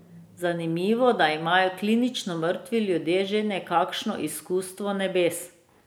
Zanimivo, da imajo klinično mrtvi ljudje že nekakšno izkustvo nebes.